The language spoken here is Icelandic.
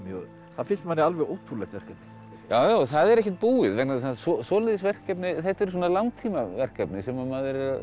það finnst manni alveg ótrúlegt verkefni já það er ekkert búið vegna þess að svoleiðis verkefni þetta er langtíma verkefni sem maður er